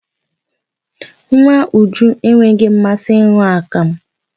Nwa Uju enweghị mmasị ịn̄ụ akamụ.